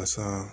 A san